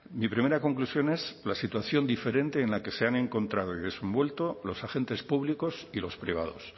mi primera conclusión es la situación diferente en la que se han encontrado y desenvuelto los agentes públicos y los privados